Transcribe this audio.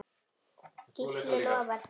Gísli lofar því.